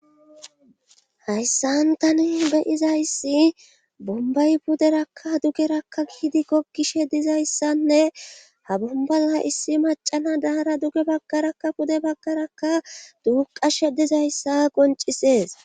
hayssan tani beyizayssi bombay puderakka dugerakka giidi gogishe dizayssanne ha bumbala issi macana daara duge baggarakka pude baggarakka duuqa she dizayssa goncisees